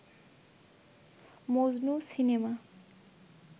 Majnu cinema